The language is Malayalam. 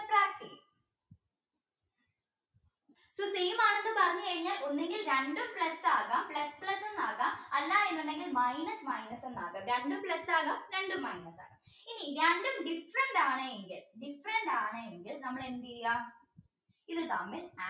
ഒന്നെങ്കിൽ രണ്ടും plus ആകാം plus plus എന്നാകാം അല്ല എന്നുണ്ടെങ്കിൽ minus minus എന്നാകാം രണ്ടും plus ആകാം രണ്ടും minus ആകാം ഇനി രണ്ടും different ആണ് എങ്കിൽ different ആണ് എങ്കിൽ നമുക്ക് എന്തയ്യാം ഇത് തമ്മിൽ